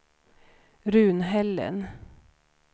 Runhällen